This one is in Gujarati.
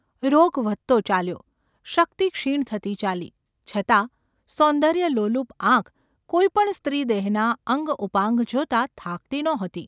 રોગ વધતો ચાલ્યો, શક્તિ ક્ષીણ થતી ચાલી, છતાં સૌંદર્યલોલુપ આંખ કોઈ પણ સ્ત્રીદેહનાં અંગ-ઉપાંગ જોતાં થાકતી નહોતી.